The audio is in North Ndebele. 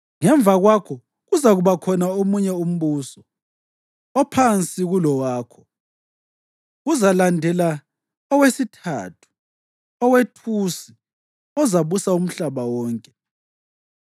Ngemva kwakho, kuzakuba khona omunye umbuso, ophansi kulowakho. Kuzalandela owesithathu owethusi ozabusa umhlaba wonke.